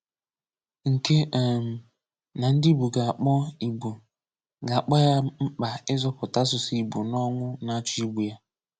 nke um na ndị Ìgbò gā-akpọ Ìgbò gā-akpọ ya mkpa ịzọ̀pụ̀tà asụ̀sụ́ Ìgbò n’ọnwụ́ nā-áchọ́ ìgbù ya.